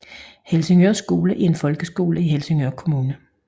Helsingør Skole er en folkeskole i Helsingør Kommune